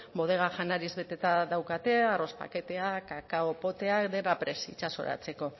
bodega janariz beteta daukate arroz paketeak kakao poteak dena prest itsasoratzeko